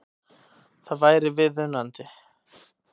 Það væri viðunandi